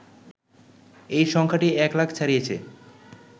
এই সংখ্যাটি এক লাখ ছাড়িয়েছে